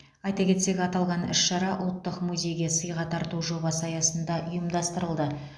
айта кетсек аталған іс шара ұлттық музейге сыйға тарту жобасы аясында ұйымдастырылды